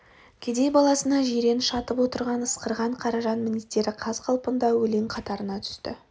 кедей баласына жиреніш атып отырған ысқырған қаражан мінездері қаз-қалпында өлең қатарына түсті